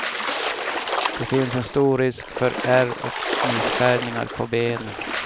Det finns en stor risk för ärr och missfärgningar på benen.